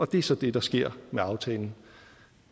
det er så det der sker med aftalen